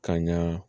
Ka ɲa